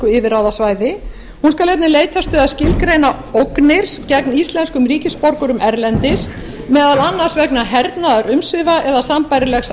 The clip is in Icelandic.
yfirráðasvæði hún skal einnig leitast við að skilgreina ógnir gegn íslenskum ríkisborgurum erlendis meðal annars vegna hernaðarumsvifa eða sambærilegs